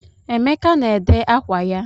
Emeka na-ede ákwá ya.